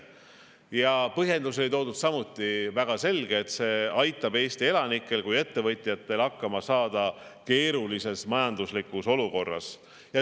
Toodud põhjendus oli samuti väga selge: see aitab nii Eesti elanikel kui ka ettevõtjatel hakkama saada keerulises majanduslikus olukorras.